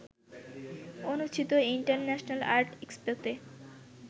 অনুষ্ঠিত international art এক্সপোতে